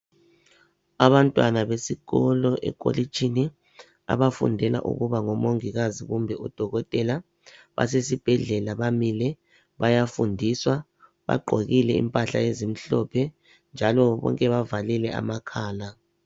Abantwana besikolo ekolitshini abafundela ukuba ngomongikazi kumbe odokotela basesibhedlela bamile bayafundiswa bagqokile impahla ezimhlophe njalo bonke bavalile amakhala.